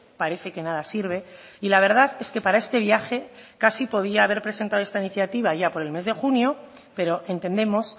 parece que nada sirve y la verdad es que para este viaje casi podía haber presentado esta iniciativa allá por el mes de junio pero entendemos